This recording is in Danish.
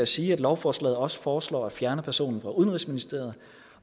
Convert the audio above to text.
sige at lovforslaget også foreslår at fjerne personen fra udenrigsministeriet